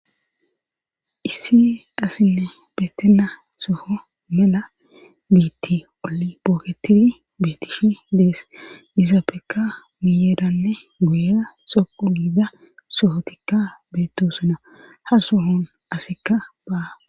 Issi asinne beetena soho mela biitti olbooketidi beetishi dees izaapeka miyeeranne goyera soqu giida sohotikka beettosuna ha sohon asekka baa.